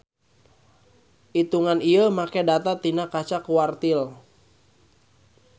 Itungan ieu make data tina kaca quartile.